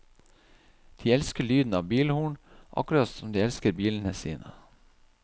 De elsker lyden av bilhorn, akkurat som de elsker bilene sine.